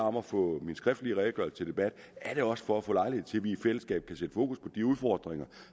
om at få min skriftlige redegørelse til debat er det også for at få lejlighed til at vi i fællesskab kan sætte fokus på de udfordringer